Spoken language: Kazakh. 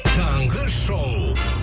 таңғы шоу